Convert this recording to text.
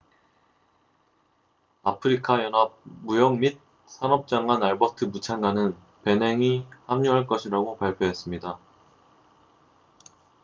아프리카 연합 무역 및 산업 장관 알버트 무찬가는 베냉이 합류할 것이라고 발표했습니다